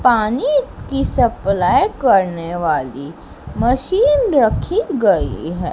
पानी की सप्लाय करने वाली मशीन रखी गई है।